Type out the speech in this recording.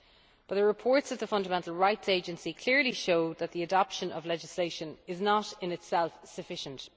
But the reports from the Fundamental Rights Agency clearly show that the adoption of legislation is not in itself sufficient.